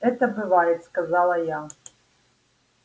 это бывает сказала я